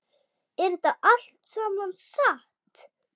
Er þetta allt saman satt?